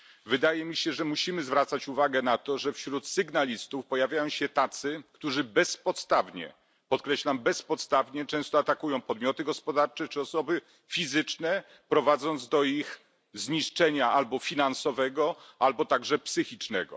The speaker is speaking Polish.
Wydaje mi się, że musimy zwracać uwagę na to, że wśród sygnalistów pojawiają się tacy, którzy bezpodstawnie, podkreślam, bezpodstawnie często atakują podmioty gospodarcze czy osoby fizyczne, prowadząc do ich zniszczenia albo finansowego, albo także psychicznego.